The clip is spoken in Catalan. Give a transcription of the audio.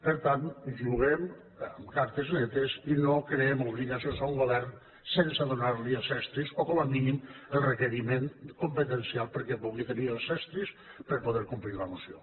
per tant juguem amb cartes netes i no creem obligacions a un govern sense donar li els estris o com a mínim el requeriment competencial perquè pugui tenir els estris per a poder complir la moció